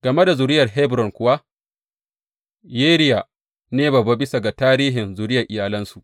Game da zuriyar Hebron kuwa, Yeriya ne babba bisa ga tarihin zuriyar iyalansu.